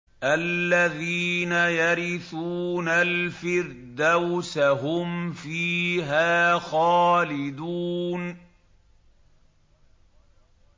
الَّذِينَ يَرِثُونَ الْفِرْدَوْسَ هُمْ فِيهَا خَالِدُونَ